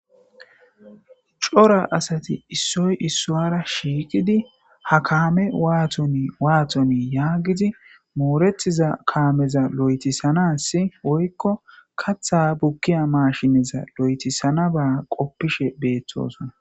Cora asati issoy issuwara shiiqidi ha kaame waatoni waatoni yaagidi mooretiza kaameza lo7etisanassi woykko katha bukkiya maashineza lo7etisanaba qoppishe beeththosona.